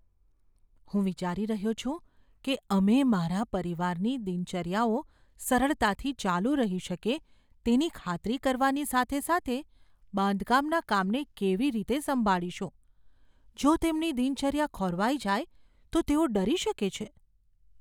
હું વિચારી રહ્યો છું કે અમે મારા પરિવારની દિનચર્યાઓ સરળતાથી ચાલુ રહી શકે તેની ખાતરી કરવાની સાથે સાથે બાંધકામના કામને કેવી રીતે સંભાળીશું. જો તેમની દિનચર્યા ખોરવાઈ જાય તો તેઓ ડરી શકે છે.